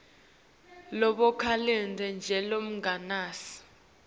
lovakalako nje lonemagama